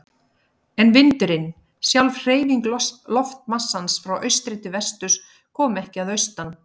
En vindurinn, sjálf hreyfing loftmassans frá austri til vesturs, kom ekki að austan.